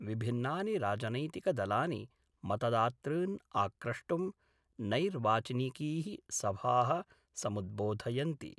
विभिन्नानि राजनैतिकदलानि मतदातॄन् आक्रष्टुं नैर्वाचनिकी: सभाः समुद्बोधयन्ति